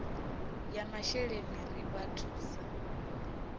ya masheleni ri vha thusa